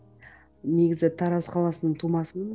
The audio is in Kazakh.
негізі тараз қаласының тумасымын